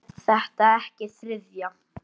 Er þetta ekki þriðja?